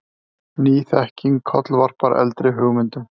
Ný þekking kollvarpar eldri hugmyndum.